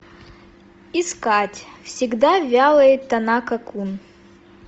искать всегда вялый танака кун